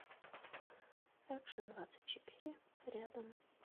экшндвадцатьчетыре рядом